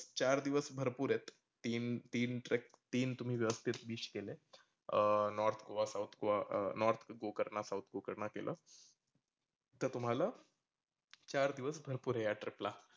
चार दिवस भरपूर आहेत तीन तीन trek तीन तुम्ही व्यवस्थीत WISH केले. अं north गोवा south गोवा अह north गोकर्णा south गोकर्णा केला. तर तुम्हाला चार दिवस भरपुर आहे या trip ला